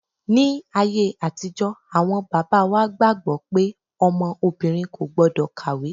Ní ayé àtijọ́ awọn bàbá wa gbàgbọ́ pé ọmọ obìnrin kò gbọ́dọ̀ kàwé.